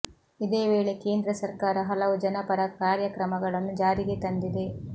ಇದೇ ವೇಳೆ ಕೇಂದ್ರ ಸರ್ಕಾರ ಹಲವು ಜನಪರ ಕಾರ್ಯಕ್ರಮಗಳನ್ನು ಜಾರಿಗೆ ತಂದಿದೆ